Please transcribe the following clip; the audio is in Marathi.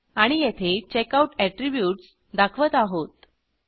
आणि येथे चेकआउट अॅट्रीब्यूट्स दाखवत आहोत